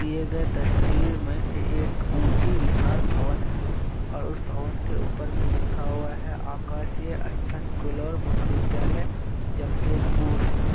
दिए गए तस्वीर मे एक ऊंची विशाल भवन हैं। और उस भवन के ऊपर में लिखा हुआ है आकाशीय असथन कूलर महाविद्यालय जमशेदपुर।